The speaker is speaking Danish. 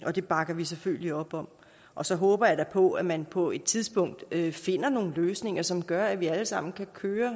og det bakker vi selvfølgelig op om og så håber jeg da på at man på et tidspunkt finder nogle løsninger som gør at vi alle sammen kan køre